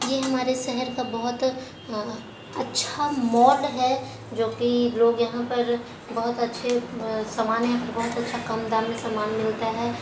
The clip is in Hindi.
यह हमारा शहर का बहोत ही अच्छा मॉल है जो की लोग यहाँ पर बहोत अच्छा सामान है बहोत अच्छा कम दाम में सामान मिलता है।